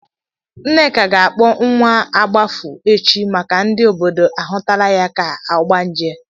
Nneka ga-akpọ nwa agbafu echi maka ndị obodo ahụtala ya ka ogbanje.